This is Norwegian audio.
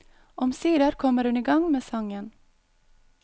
Omsider kommer hun i gang med sangen.